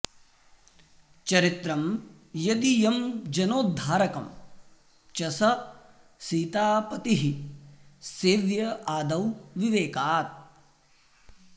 चरित्रं यदीयं जनोद्धारकं च स सीतापतिः सेव्य आदौ विवेकात्